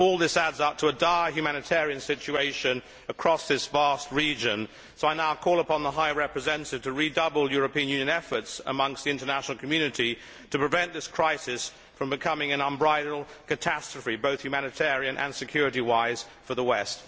All this adds up to a dire humanitarian situation across this vast region, so I now call upon the High Representative to redouble European Union efforts amongst the international community to prevent this crisis from becoming an unbridled catastrophe, both humanitarian and security wise for the West.